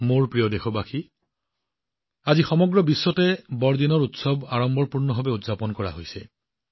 মোৰ মৰমৰ দেশবাসীসকল আজি সমগ্ৰ বিশ্বতে বৰদিনৰ উৎসৱ অতি উৎসাহেৰে উদযাপন কৰা হৈছে